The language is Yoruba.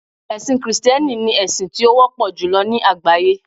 ẹsìn Kristẹni ni esin ti o wọpọ julọ ni àgbáyé